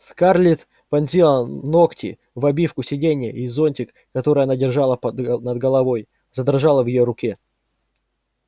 скарлетт вонзила ногти в обивку сиденья и зонтик который она держала над головой задрожала в её руке